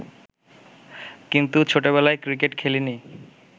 কিন্তু ছোটবেলায় ক্রিকেট খেলিনি